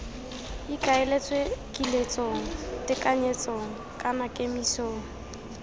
ikaeletswe kiletsong tekanyetsong kana kemisong